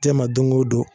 Tɛ ma don o don